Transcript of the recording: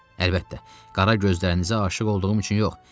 Əlbəttə, qara gözlərinizə aşiq olduğum üçün yox.